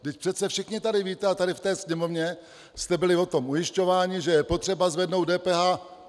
Vždyť přece všichni tady víte a tady v té sněmovně jste byli o tom ujišťováni, že je potřeba zvednout DPH.